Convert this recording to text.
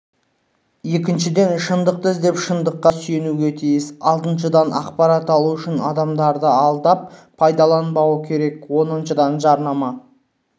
екіншіден шындықты іздеп шындыққа сүйенуге тиіс алтыншыдан ақпарат алу үшін адамдарды алдап пайдаланбауы керек оныншыдан жарнама